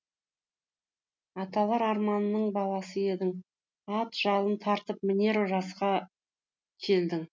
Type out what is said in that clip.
аталар арманының баласы едің ат жалын тартып мінер жасқа келдің